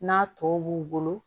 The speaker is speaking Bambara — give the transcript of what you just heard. N'a tɔ b'u bolo